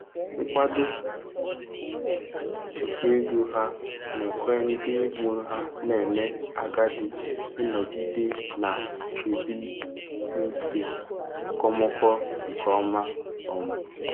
Nkwado nke ego ha na-ekwe ndị mụrụ ha na-eme agadi ịnọgide na-ebi ndụ okomoko nke ọma. um